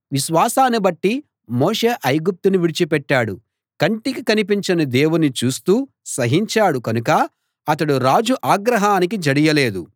విశ్వాసాన్ని బట్టి మోషే ఐగుప్తును విడిచి పెట్టాడు కంటికి కనిపించని దేవుణ్ణి చూస్తూ సహించాడు కనుక అతడు రాజు ఆగ్రహానికి జడియలేదు